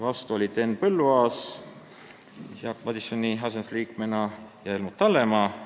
Vastu olid Henn Põlluaas Jaak Madisoni asendusliikmena ja Helmut Hallemaa.